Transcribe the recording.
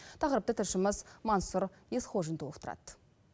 тақырыпты тілшіміз мансұр есқожин толықтырады